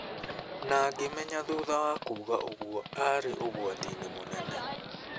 Na ngĩmenya thutha wa kuuga uguo aarĩ ũgwati-inĩ mũnene".